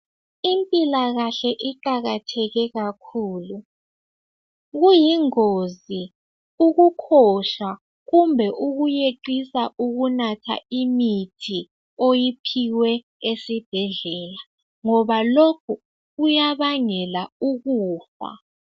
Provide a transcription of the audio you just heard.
Impilakahle iqakatheke kakhulu kuyingozi ukukhosha kumbe ukuyeqisa ukunatha imithi oyiphiwe esibhedlela ngoba lokhu kuyabangela ukufa.